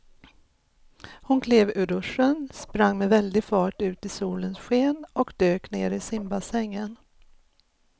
Hon klev ur duschen, sprang med väldig fart ut i solens sken och dök ner i simbassängen.